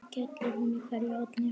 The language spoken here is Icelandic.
skellur í hverju horni.